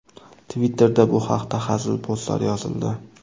Twitter’da bu haqda hazil postlar yozildi.